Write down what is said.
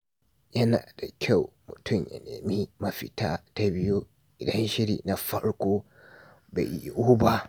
Yana da kyau mutum ya nemi mafita ta biyu idan shiri na farko bai yiwu ba.